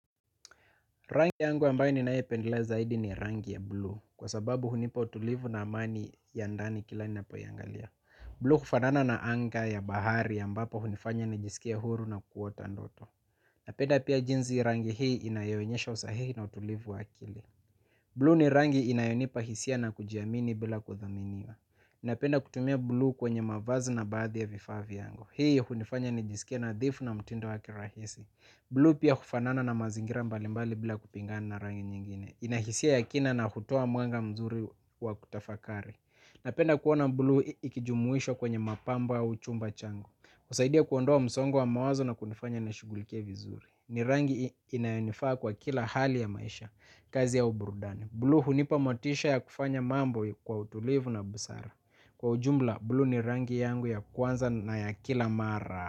Rangi yangu ambayo ninyoipendelea zaidi ni rangi ya bluu kwa sababu hunipa utulivu na amani ya ndani kila ninapoiangalia bluu hufanana na anga ya bahari ambapo hunifanya nijisikie huru na kuota ndoto napenda pia jinsi rangi hii inayoonyesha usahihi na utulivu wa akili bluu ni rangi inayonipa hisia na kujiamini bila kudhaminiwa napenda kutumia blue kwenye mavazi na baadhi ya vifaa vyangu hii hunifanya nijisikie nadhifu na mtindo wa kirahisi bluu pia hufanana na mazingira mbalimbali bila kupingana na rangi nyingine ina hisia ya kina na hutoa mwanga mzuri wa kutafakari napenda kuona bluu ikijumuishwa kwenye mapambo au chumba changu husaidia kuondoa msongo wa mawazo na kunifanya nishugulikie vizuri ni rangi inayonifaa kwa kila hali ya maisha kazi au burudani bluu hunipa motisha ya kufanya mambo kwa utulivu na busara kwa ujumla bluu ni rangi yangu ya kwanza na ya kila mara.